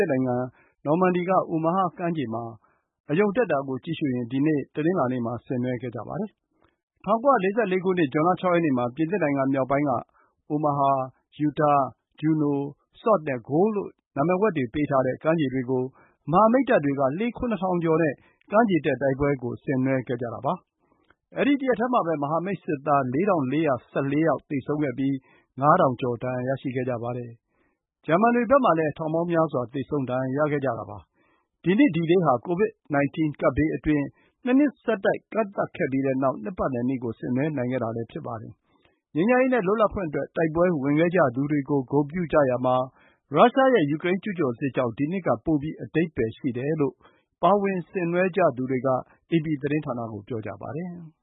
စ်နိုင်ငံ၊ နော်မန်ဒီက အိုမာဟာကမ်းခြေမှာ အရုဏ်ကို ကြည့်ရှုရင်း ၇၈ နှစ်မြောက် ကမ်းခြေတက်အောင်ပွဲ ကို ဒီနေ့ တနင်္လာနေ့မှာ ဆင်နွှဲခဲ့ကြပါတယ်။ ၁၉၄၄ ခုနှစ် ဇွန်လ ၆ ရက်နေ့မှာ ပြင်သစ်နိုင်ငံမြောက်ပိုင်းက အိုမာဟာ၊ ယူတား၊ ဂျူနို၊ ဆော့်ဒ် နဲ ဂိုလ်ဒ်လို့ နာမည်ဝှက်ပေးထားတဲ့ ကမ်းခြေတွေကို မဟာမိတ်တပ်တွေက လှေ ၇,၀၀၀ နဲ့ ကမ်းခြေတက်တိုက်ပွဲကို ဆင်နွှဲခဲ့ကြတာ ဖြစ်ပါတယ်။ အဲဒီ တရက်တည်းမှာပဲ မဟာမိတ် စစ်သား ၄,၄၁၄ ယောက် သေဆုံးခဲ့ပြီး ၅,၀၀၀ ကျော် ဒဏ်ရာရရှိခဲ့ကြပါတယ်။ ဂျာမန်တွေဘက်မှာလည်း ထောင်ပေါင်းများစွာ သေဆုံး ဒဏ်ရာရခဲ့ကြတာပါ။ ဒီနှစ် ဒီဒေးဟာ ကိုဗစ် 19 ကပ်ဘေးအတွင်း ၂ နှစ်ဆက်တိုက် ကန့်သတ်ခဲ့ပြီးတဲ့နောက် နှစ်ပတ်လည်နေ့ကို ဆင်နွှဲနိုင်တာလည်း ဖြစ်ပါတယ်။ ငြိမ်းချမ်းရေးနဲ့ လွတ်လပ်ခွင့်အတွက် တိုက်ပွဲဝင်ခဲ့ကြသူတွေကို ဂုဏ်ပြုကြရာမှာ ရုရှားရဲ့ ယူကရိန်းကျူးကျော်စစ်ကြောင့် ဒီနှစ်က ပိုပြီး အဓိပ္ပါယ်ရှိတယ်လို့ ပါဝင်ဆင်နွှဲကြသူတွေက အေပီသတင်းဌာနကို ပြောကြပါတယ်။